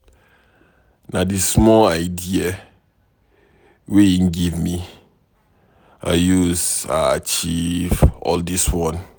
Na di small idea wey im give me I usa achieve all dis one.